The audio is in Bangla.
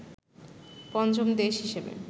পঞ্চম দেশ হিসেবে